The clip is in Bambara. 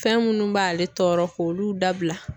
Fɛn minnu b'ale tɔɔrɔ k'olu dabila.